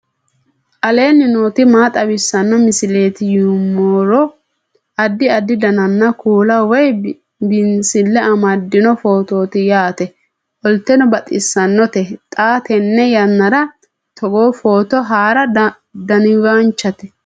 aleenni nooti maa xawisanno misileeti yinummoro addi addi dananna kuula woy biinsille amaddino footooti yaate qoltenno baxissannote xa tenne yannanni togoo footo haara danvchate